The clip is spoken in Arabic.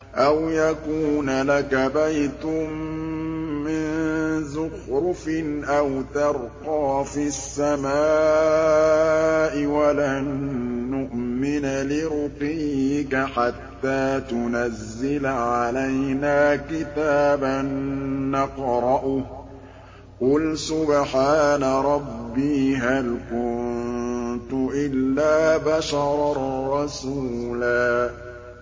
أَوْ يَكُونَ لَكَ بَيْتٌ مِّن زُخْرُفٍ أَوْ تَرْقَىٰ فِي السَّمَاءِ وَلَن نُّؤْمِنَ لِرُقِيِّكَ حَتَّىٰ تُنَزِّلَ عَلَيْنَا كِتَابًا نَّقْرَؤُهُ ۗ قُلْ سُبْحَانَ رَبِّي هَلْ كُنتُ إِلَّا بَشَرًا رَّسُولًا